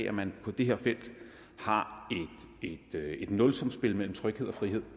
at man på det her felt har et nulsumsspil mellem tryghed og frihed